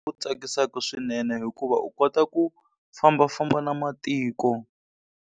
Ku tsakisaka swinene hikuva u kota ku fambafamba na matiko.